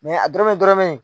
a dɔrɔmɛ dɔrɔmɛ in